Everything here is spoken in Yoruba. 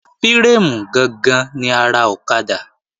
Fírémù gangan ni ara ọ̀kadà